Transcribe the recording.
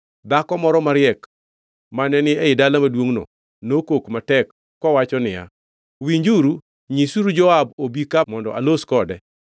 dhako moro mariek mane ni e dala maduongʼno nokok matek kowacho niya, “Winjuru! Nyisuru Joab obi ka mondo alos kode.”